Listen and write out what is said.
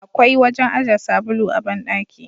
Akwai wajen aje sabulu a bandaki.